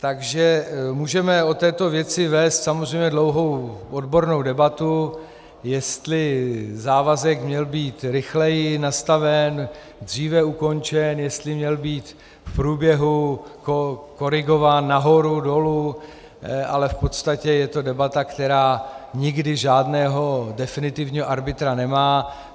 Takže můžeme o této věci vést samozřejmě dlouhou odbornou debatu, jestli závazek měl být rychleji nastaven, dříve ukončen, jestli měl být v průběhu korigován nahoru, dolů, ale v podstatě je to debata, která nikdy žádného definitivního arbitra nemá.